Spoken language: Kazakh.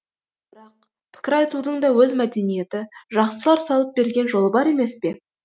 бірақ пікір айтудың да өз мәдениеті жақсылар салып берген жолы бар емес пе